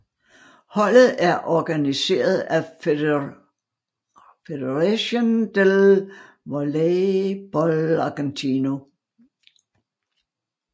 Holdet er organiseret af Federación del Voleibol Argentino